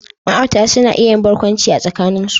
Ma'aurata suna iya yin barkwanci a tsakanin su.